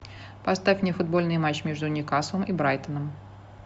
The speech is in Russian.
поставь мне футбольный матч между ньюкаслом и брайтоном